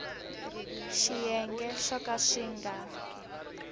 swiyenge swo ka swi nga